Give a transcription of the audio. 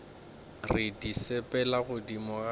re di sepela godimo ga